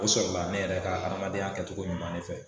O sɔrɔla ne yɛrɛ ka adamadenya kɛtogo ɲuman ne fɛ